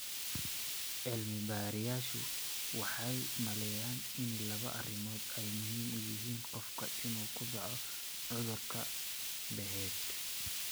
Cilmi-baarayaashu waxay u maleynayaan in laba arrimood ay muhiim u yihiin qofka inuu ku dhaco cudurka Behet.